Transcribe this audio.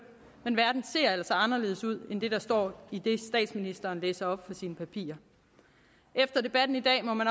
men verden ser altså anderledes ud end det der står i det statsministeren læser op fra sine papirer efter debatten i dag må man